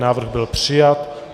Návrh byl přijat.